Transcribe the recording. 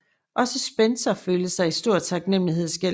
Også Spener følte sig i stor taknemmelighedsgæld til ham